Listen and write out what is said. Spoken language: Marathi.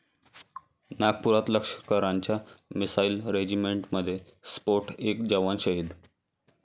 नागपुरात लष्कराच्या मिसाईल रेजिमेंटमध्ये स्फोट, एक जवान शहीद